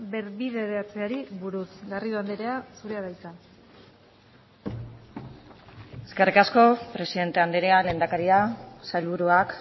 berbideratzeari buruz garrido andrea zurea da hitza eskerrik asko presidente andrea lehendakaria sailburuak